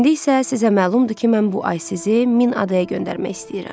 İndi isə sizə məlumdur ki, mən bu ay sizi min adaya göndərmək istəyirəm.